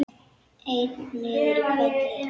Einn niður í hvelli.